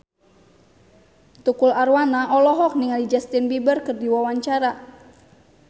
Tukul Arwana olohok ningali Justin Beiber keur diwawancara